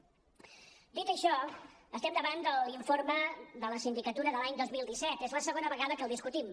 dit això estem davant de l’informe de la sindicatura de l’any dos mil disset és la segona vegada que el discutim